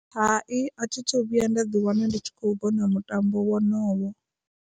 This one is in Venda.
Hai a thithu vhuya nda ḓi wana ndi tshi kho u vhona mutambo wonowo.